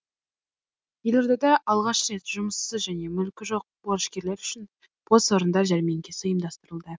елордада алғаш рет жұмыссыз және мүлкі жоқ борышкерлер үшін бос орындар жәрмеңкесі ұйымдастырылды